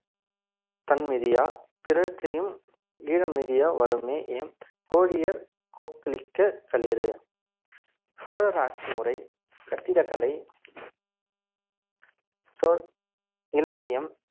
தன் மிதியா பிறர் செய்யும் ஈழம் மிதியா வருமே எம் கோழியர் கோக்களிக்க களிறு சோழர் ஆட்சி முறை கட்டிடக்கலை சொ~ இலக்கியம்